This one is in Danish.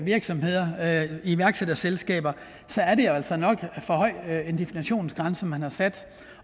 virksomheder iværksætterselskaber så er det altså nok for høj en definitionsgrænse man har sat